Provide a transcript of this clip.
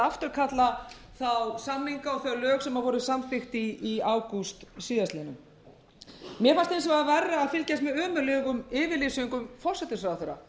afturkalla þá samninga og þau lög sem voru samþykkt í ágúst síðastliðinn mér fannst hins vegar verra að fylgjast með ömurlegum yfirlýsingum forsætisráðherra